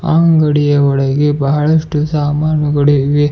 ಅಂಗಡಿಯ ಒಳಗೆ ಬಹಳಷ್ಟು ಸಾಮಾನುಗಳು ಇವೆ.